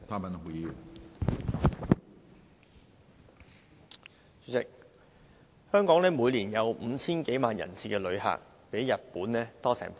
主席，香港每年有 5,000 多萬人次旅客，比日本多超過一倍。